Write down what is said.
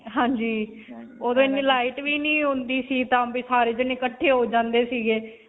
ਹਾਂਜੀ. ਓਦੋਂ ਇੰਨੀ light ਵੀ ਨਹੀਂ ਹੁੰਦੀ ਸੀ ਸਾਰੇ ਜਾਣੇ ਇਕੱਠੇ ਹੋ ਜਾਂਦੇ ਸੀਗੇ.